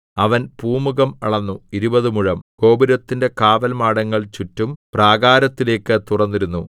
അവൻ പൂമുഖം അളന്നു ഇരുപതു മുഴം ഗോപുരത്തിന്റെ കാവൽമാടങ്ങൾ ചുറ്റും പ്രാകാരത്തിലേക്കു തുറന്നിരുന്നു